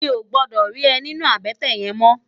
Mi ó gbòdò ri è ninú àbètè yèn mò